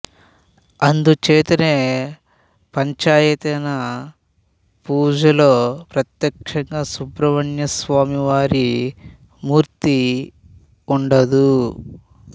అందుచేతనే పంచాయతన పూజలో ప్రత్యక్షంగా సుబ్రహ్మణ్య స్వామి వారి మూర్తి ఉండదు